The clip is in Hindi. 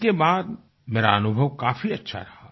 इसके बाद मेरा अनुभव काफी अच्छा रहा